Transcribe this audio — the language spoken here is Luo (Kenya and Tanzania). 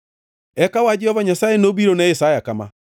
Eka wach Jehova Nyasaye nobiro ne Isaya kama: